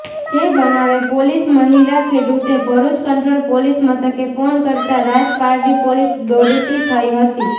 જે બનાવે મહિલા ખેડૂતે ભરૃચ કંટ્રોલ પોલીસ મથકે ફોન કરતા રાજપારડી પોલીસ દોડતી થઇ હતી